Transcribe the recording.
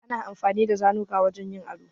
Ana amfani da zanuka wajen yin ado.